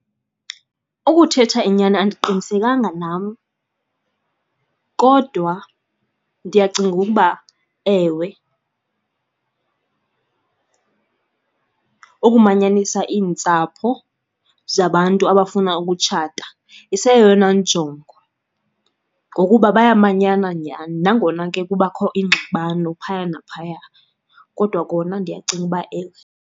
Ukuthetha inyani andiqinisekanga nam, kodwa ndiyacinga ukuba ewe. Ukumanyanisa iintsapho zabantu abafuna ukutshata iseyeyona njongo, ngokuba bayamanyana nyani nangona ke kubakho iingxabano phaya naphaya. Kodwa kona ndiyacinga uba ewe.